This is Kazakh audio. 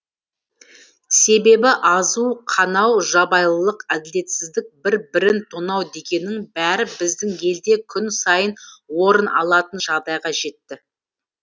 себебі азу қанау жабайылылық әділетсіздік бір бірін тонау дегеннің бәрі біздің елде күн сайын орын алатын жағдайға жетті